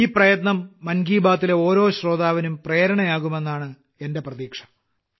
ഈ പ്രയത്നം മൻ കി ബാത്തിലെ ഓരോ ശ്രോതാവിനും പ്രേരണയാകുമെന്നാണ് എന്റെ പ്രതീക്ഷ